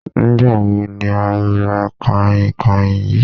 Nígbà wo ni o ra kànhìnkànhìn yìí?